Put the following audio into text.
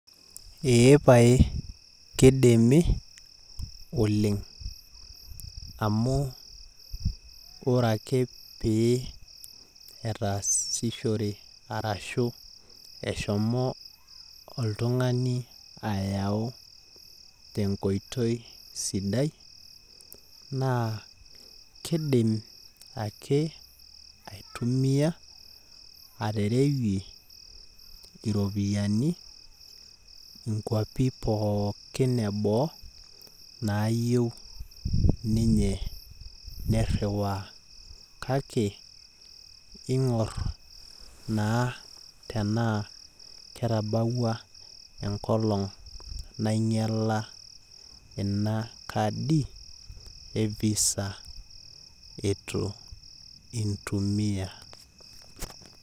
Ee pae kidimi oleng amu ore ake pee etaasishore arashu eshomo oltungani ayau tenkoitoi sidai naa kidim ake aitumia aterewie iropiani inkwapin pookin eboo naayieu niriwaaa kake ingor naa enkolong eitu inyiala ina kadi e visa itu intumia